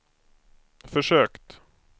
försökt